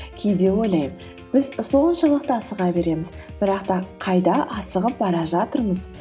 кейде ойлаймын біз соншалықты асыға береміз бірақ та қайда асығып бара жатырмыз